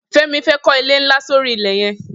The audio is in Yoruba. Femi fè kọ ilé nlá sóri ilẹ yẹ̀n